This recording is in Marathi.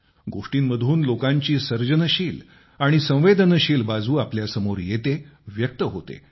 गोष्टींमधून लोकांची सर्जनशील आणि संवेदनशील बाजू आपल्यासमोर येते व्यक्त होते